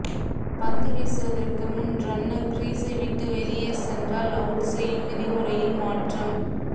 பந்து வீசுவதற்கு முன் ரன்னர் கிரீஸை விட்டு வெளியே சென்றால் அவுட் செய்யும் விதிமுறையில் மாற்றம்